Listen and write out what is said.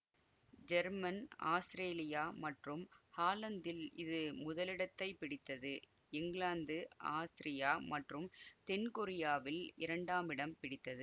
German Australia மற்றும் ஹாலந்தில் இது முதலிடத்தைப் பிடித்தது இங்கிலாந்து ஆஸ்திரியா மற்றும் தென் கொரியாவில் இரண்டாமிடம் பிடித்தது